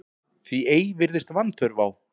Því ei virðist vanþörf á